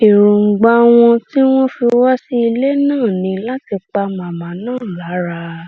èròǹgbà wọn tí wọn fi wá sí ilé náà ní láti pa màmá náà lára